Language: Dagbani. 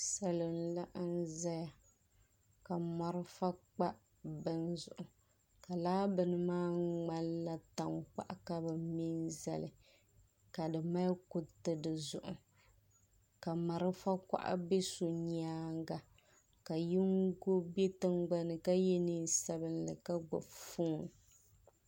salo n-laɣim zaya ka marafa kpa bini zuɣu ka laa bini maa ŋmanila tankpaɣu ka bɛ mɛ m-zali ka di mali kuriti di zuɣu ka marafa kuɣa be so nyaaga ka yingo be tiŋgbani ka ye neen' sabinli ka gbubi foon.